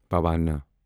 پوانا